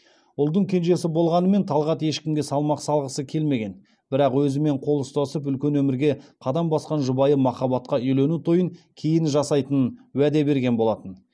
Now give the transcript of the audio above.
ұлдың кенжесі болғанымен талғат ешкімге салмақ салғысы келмеген бірақ өзімен қол ұстасып үлкен өмірге қадам басқан жұбайы махаббатқа үйлену тойын кейін жасайтынын уәде берген болатын